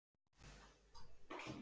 Hann stóðst það afl.